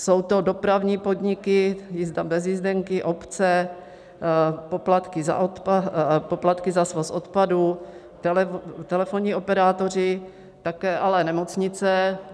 Jsou to dopravní podniky - jízda bez jízdenky, obce - poplatky za svoz odpadů, telefonní operátoři, ale také nemocnice.